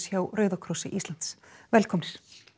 hjá Rauða krossi Íslands velkomnir